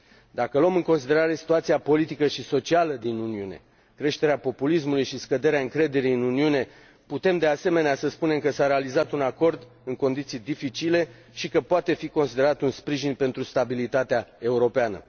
Dacă luăm în considerare situația politică și socială din Uniune, creșterea populismului și scăderea încrederii în Uniune, putem, de asemenea, să spunem că s a realizat un acord în condiții dificile și că poate fi considerat un sprijin pentru stabilitatea europeană.